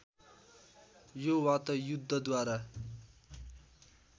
यो वा त युद्धद्वारा